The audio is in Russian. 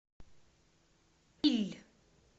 иль